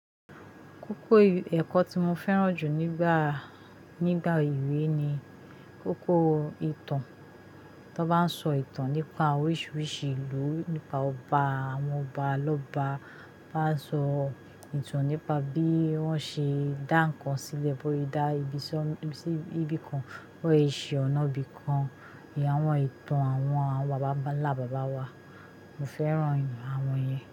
Kókó ẹ̀kọ́ tí mo fẹ́ràn jù nígbà, nígbà ìwé ni kókó ìtàn. Tó bá ń sọ ìtàn nípa oríṣiríṣi ìlú, nípa ọba, àwọn ọba lọ́ba. Ba sọ ìtàn nípa bí wọ́n ṣe dá ǹkan sílẹ̀, bó ye dá ibiṣọ́, ibi kan, bó ye ṣe ọ̀nà bi kan. Awọ̀n ìtàn àwọn, àwọn bàbá ńlá bàbá wa. Mo fẹ́ràn àwọn yẹn.